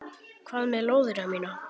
Hvað með lóðina mína!